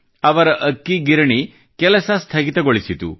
ಅವರ ಅಕ್ಕಿ ಗಿರಣಿ ಕೆಲಸ ಸ್ಥಗಿತಗೊಳಿಸಿತು